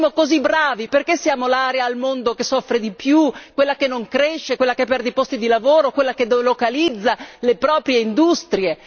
Se fossimo così bravi, perché siamo l'area al mondo che soffre di più, quella che non cresce, quella che perde i posti di lavoro, quella che delocalizza le proprie industrie?